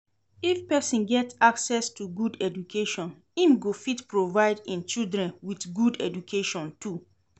If persin get access to good education im go fit provide im children with good education too